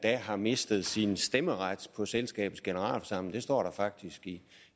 har mistet sin stemmeret på selskabets generalforsamling det står der faktisk i